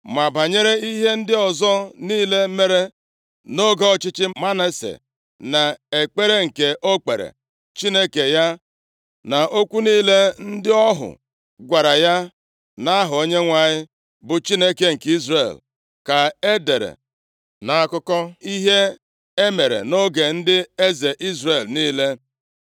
Ma banyere ihe ndị ọzọ niile mere nʼoge ọchịchị Manase na ekpere nke o kpeere Chineke ya, na okwu niile ndị ọhụ gwara ya nʼaha Onyenwe anyị, bụ Chineke nke Izrel, ka e dere nʼakwụkwọ akụkọ ihe e mere nʼoge ndị eze Izrel niile.